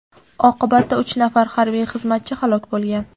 Oqibatda uch nafar harbiy xizmatchi halok bo‘lgan.